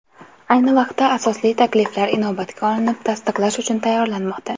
Ayni vaqtda asosli takliflar inobatga olinib, tasdiqlash uchun tayyorlanmoqda.